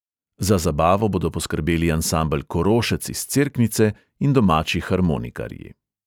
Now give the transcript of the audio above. Za zabavo bodo poskrbeli ansambel korošec iz cerknice in domači harmonikarji.